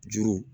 Juru